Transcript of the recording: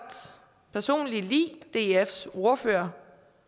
personligt lide dfs ordfører